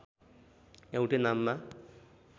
एउटै नाममा